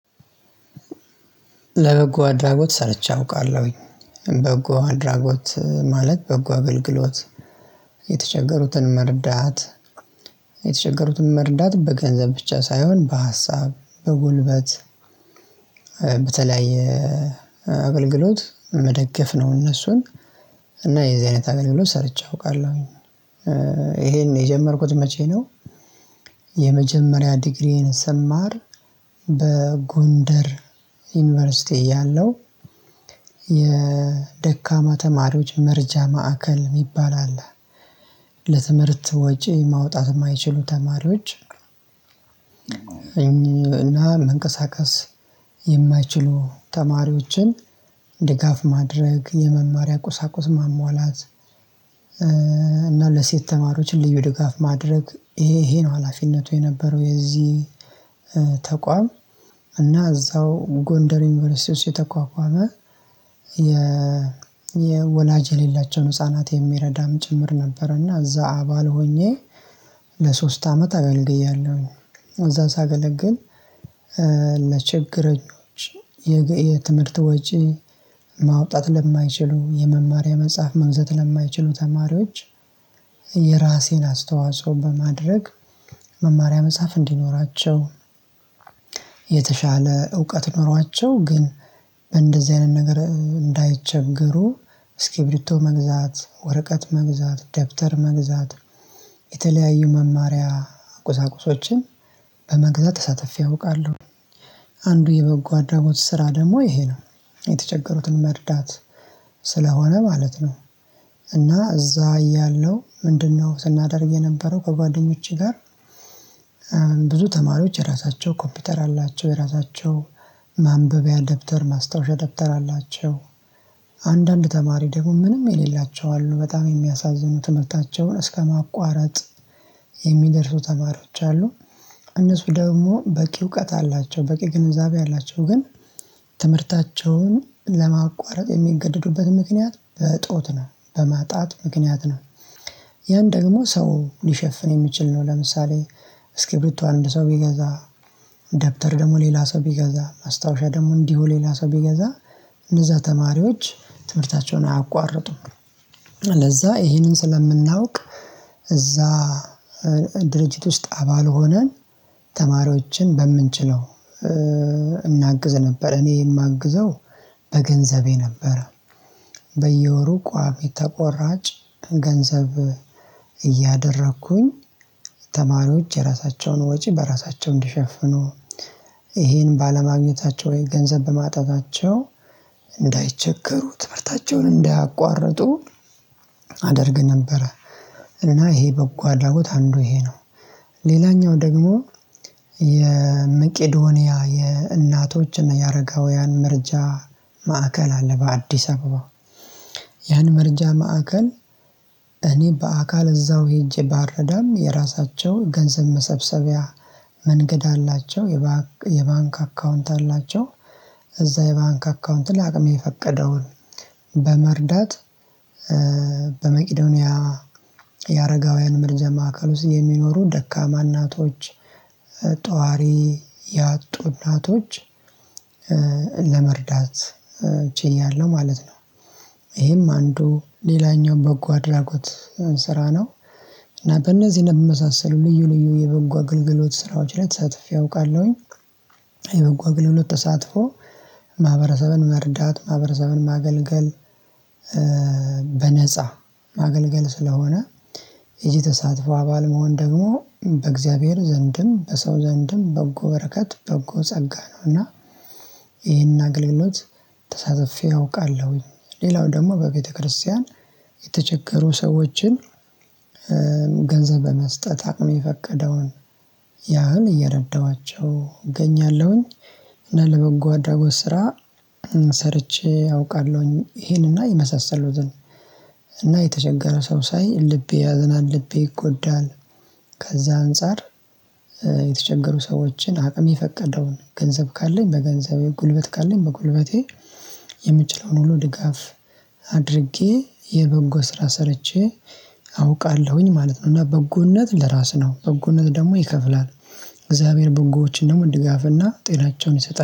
ለበጎ አድራጎት ሰርቼ አውቃለሁኝ በጎ አድራጎት ማለት በጎ አገልግሎት የተቸገሩትን መርዳት። የተቸገሩትን መርዳት በገንዘብ ብቻ ሳይሆን በሀሳብ በጉልበት በተለያየ አገልግሎት መደገፍ ነው። እነሱን እና የዚህ አይነት አገልግሎት ሰርቼ አውቃለሁኝ። ይሄን የጀመርኩት መቼ ነው? የመጀመሪያ ዲግሪዬን ስማር በጎንደር ዩኒቨርሲቲ እያለው የደካማ ተማሪዎች መረጃ ማዕከል የሚባል አለ። ለትምህርት ወጪ ማውጣት የማይችሉ ተማሪዎች እና መንቀሳቀስ የማይችሉ ተማሪዎችን ድጋፍ ማድረግ የመማሪያ ቁሳቁስ ማሟላት። እና ለሴት ተማሪዎች እንደው ድጋፍ ማድረግ ይሄ ይሄ ነው ሀላፊነቱ የነበረው የዚህ ተቋም እና እዛው ጎንደር ዩኒቨርሲቲ ውስጥ የተቋቋመ። የ የወላጅ የሌላቸውን ህፃናት የሚረዳም ጭምር ነበረ። እና እዛ አባል ሆኜ ለሶስት አመት አገልግያለሁ። እዛ ሳገለግል ለችግረኞች የትምህርት ወጪ ማውጣት ለማይችሉ የመማሪያ የመጻፍ መግዛት ለማይችሉ ተማሪዎች የራሴን አስተዋጽኦ በማድረግ መማሪያ መጻፍ እንዲኖራቸው። የተሻለ እውቀት ኖሯቸው ግን እንደዚህ አይነት ነገር እንዳይቸገሩ እስኪብሪቶ መግዛት ወረቀት መግዛት ደብተር መግዛት የተለያዩ መማሪያ ቁሳቁሶችን በመግዛት ተሳትፌ አውቃለሁ። አንዱ የበጎ አድራጎት ስራ ደግሞ ይሄ ነው የተቸገሩትን መርዳት ስለሆነ ማለት ነው። እና እዛ እያለው ምንድነው ስናደርግ የነበረው ከጓደኞቼ ጋር ብዙ ተማሪዎች የራሳቸው ኮፒውተር አላቸው የራሳቸው ማንበቢያ ደብተር ማስታወሻ ደብተር አላቸው። አንዳንድ ተማሪ ደግሞ ምንም የሌላቸው አሉ በጣም የሚያሳዝኑ ትምህርታቸውን እስከማቋረጥ የሚደርሱ ተማሪዎች አሉ። እነሱ ደግሞ በቂ እውቀት አላቸው በቂ ግንዛቤ አላቸው ግን ትምህርታቸውን ለማቋረጥ የሚገደዱበት ምክንያት በዕጦት ነው በማጣት ምክንያት ነው። ያን ደግሞ ሰው ሊሸፍን የሚችል ነው። ለምሳሌ እስኪብርቶ አንድ ሰው ቢገዛ ደብተር ደግሞ ሌላ ሰው ቢገዛ ማስታወሻ ደግሞ እንዲሁ ሌላ ሰው ቢገዛ እነዛ ተማሪዎች ትምህርታቸውን አያቋርጡም። ለዛ ይሄንን ስለምናውቅ እዛ ድርጅት ውስጥ አባል ሆነን ተማሪዎችን በምንችለው እናግዝ ነበር። እኔ የማግዘው በገንዘቤ ነበር። በየወሩ ቋሚ የተቆራጭ ገንዘብ እያደረኩኝ ተማሪዎች የራሳቸውን ወጪ በራሳቸው እንዲሸፍኑ ይሄን ባለማግኘታቸው ወይ ገንዘብ በማጣታቸው እንዳይቸገሩ ትምህርታቸውን እንዳያቋርጡ አደርግ ነበረ። እና ይሄ በጎ አድራጎት አንዱ ይሄ ነው። ሌላኛው ደግሞ የመቄዶንያ የእናቶች እና የአረጋውያን መርጃ ማዕከል አለ በአዲስ አበባ። ያን መረጃ ማዕከል እኔ በአካል እዛው ሄጄ ባረዳም የራሳቸውን ገንዘብ መሰብሰቢያ መንገድ አላቸው። የባንክ አካውንት አላቸው። እዛ የባንክ አካውንት ላይ አቅሜ የፈቀደውን በመርዳት። በመቄዶንያ የአረጋውያን መርጃ ማዕከል ውስጥ የሚኖሩ ደካማ እናቶች ጧሪ ያጡ እናቶች ለመርዳት ችያለሁ ማለት ነው። ይሄም አንዱ ሌላኛው በጎ አድራጎት ስራ ነው። እና በእነዚህ ነገር የመሳሰሉ ልዩ ልዩ የበጎ አገልግሎት ስራዎች ላይ ተሳትፎ ያውቃለሁኝ። የበጎ አገልግሎት ተሳትፎ ማህበረሰብን መርዳት ማህበረሰብን ማገልገል በነፃ ማገልገል ስለሆነ ይሄ ተሳትፎ አባል መሆን ደግሞ በእግዚአብሔር ዘንድም በሰው ዘንድም በጎ በረከት በጎ ጸጋ ነው። እና ይሄን አገልግሎት ተሳትፌ አውቃለሁኝ። ሌላው ደግሞ በቤተክርስቲያን የተቸገሩ ሰዎችን ገንዘብ በመስጠት አቅም የፈቀደውን ያህል እየረዳኋቸው እገኛለሁኝ። እና ለበጎ አድራጎት ስራ ሰርቼ አውቃለሁኝ። ይሄንና ይመሳሰሉትን እና የተቸገረ ሰው ሳይ ልቤ ያዝናል ልቤ ይጎዳል። ከዛ አንፃር የተቸገሩ ሰዎችን አቅሜ የፈቀደውን ገንዘብ ካለኝ በገንዘብ ጉልበት ካለን በጉልበቴ የምችለውን ሁሉ ድጋፍ አድርጌ የበጎ ስራ ሰርቼ አውቃለሁኝ ማለት ነው። እና በጎነት ለራስህ ነው በጎነት ደግሞ ይከፍላል። እግዚአብሔር በጎዎች እንደው ድጋፍና ጤናቸውን ይሰጣል